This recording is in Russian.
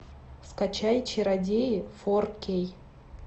скачай чародеи фор кей